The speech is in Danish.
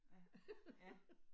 Ja, ja